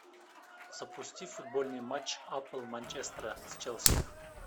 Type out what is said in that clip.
запусти футбольный матч апл манчестера с челси